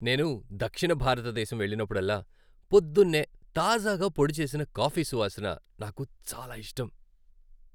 నేను దక్షిణ భారత దేశం వెళ్ళినప్పుడల్లా, పొద్దున్నే తాజాగా పొడిచేసిన కాఫీ సువాసన నాకు చాలా ఇష్టం.